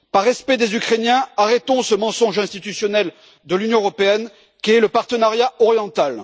Par respect des Ukrainiens, arrêtons ce mensonge institutionnel de l'Union européenne qu'est le partenariat oriental.